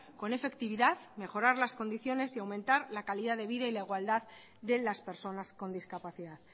con efectividad mejorar las condiciones y aumentar la calidad de vida y la igualdad de las personas con discapacidad